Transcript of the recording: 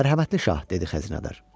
Mərhəmətli şah, dedi xəzinədar.